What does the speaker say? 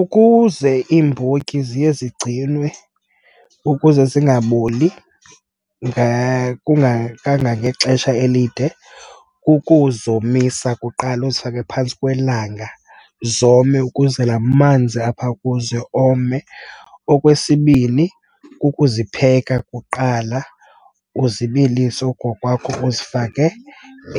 Ukuze iimbotyi ziye zigcinwe ukuze zingaboli kangangexesha elide, kukuzomisa kuqala, uzifake phantsi kwelanga zome, ukuze la manzi apha kuzo ome. Okwesibini, kukuzipheka kuqala, uzibilise oku kokwakho, uzifake